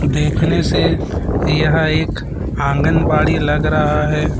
देखने से यह एक आंगनबाड़ी लग रहा है।